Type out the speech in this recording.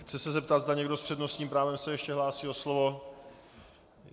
Chci se zeptat, zda někdo s přednostním právem se ještě hlásí o slovo.